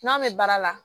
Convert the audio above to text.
N'a bɛ baara la